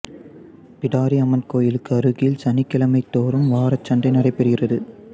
பிடாரி அம்மன் கோயிலுக்கு அருகில் சனிக்கிழமை தோறும் வாரச்சந்தை நடைபெறுகிறது